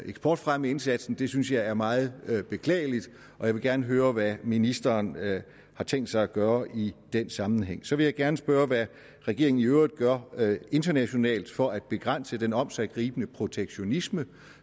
eksportfremmeindsatsen det synes jeg er meget beklageligt og jeg vil gerne høre hvad ministeren har tænkt sig at gøre i den sammenhæng så vil jeg gerne spørge hvad regeringen i øvrigt gør internationalt for at begrænse den omsiggribende protektionisme